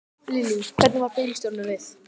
Lillý: Hvernig varð bílstjóranum við?